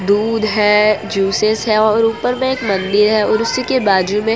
दूध है जूसेस है और ऊपर में एक मंदिर है और उसी के बाजू में --